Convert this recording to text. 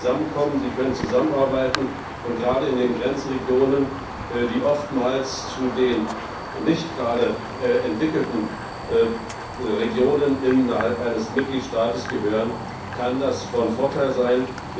Sie können zusammenkommen, sie können zusammenarbeiten, und gerade in den Grenzregionen, die oftmals zu den nicht gerade entwickelten Regionen innerhalb eines Mitgliedstaates gehören, kann das von Vorteil sein.